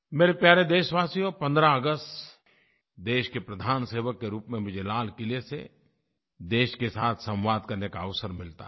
मेरे प्यारे देशवासियों 15 अगस्त देश के प्रधान सेवक के रूप में मुझे लाल क़िले से देश के साथ संवाद करने का अवसर मिलता है